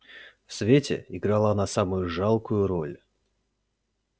в свете играла она самую жалкую роль